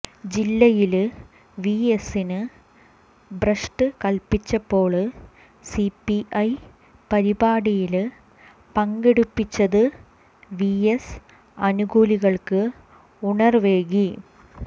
ജില്ലയില് വിഎസിന് ഭ്രഷ്ട് കല്പ്പിച്ചപ്പോള് സിപിഐ പരിപാടിയില് പങ്കെടുപ്പിച്ചത് വിഎസ് അനുകൂലികള്ക്ക് ഉണര്വേകി